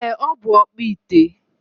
Ee, Ọ bụ ọkpụite.